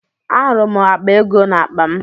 Ahụrụ m akpa ego n'akpa m